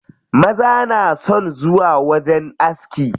Maza na son zuwa wajen aski.